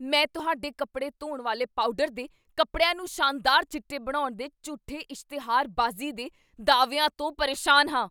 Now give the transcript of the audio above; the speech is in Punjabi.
ਮੈਂ ਤੁਹਾਡੇ ਕੱਪੜੇ ਧੋਣ ਵਾਲੇ ਪਾਊਡਰ ਦੇ ਕਪੜਿਆਂ ਨੂੰ ਸ਼ਾਨਦਾਰ ਚਿੱਟੇ ਬਣਾਉਣ ਦੇ ਝੂਠੇ ਇਸ਼ਤਿਹਾਰਬਾਜ਼ੀ ਦੇ ਦਾਅਵਿਆਂ ਤੋਂ ਪਰੇਸ਼ਾਨ ਹਾਂ।